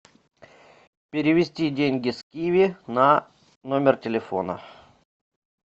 перевести деньги с киви на номер телефона